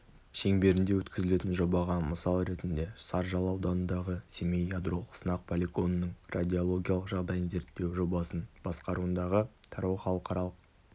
шеңберінде өткізілетін жобаға мысал ретінде саржал ауданындағы семей ядролық сынақ полигонының радиологиялық жағдайын зерттеу жобасын басқаруындағы тарау халықаралық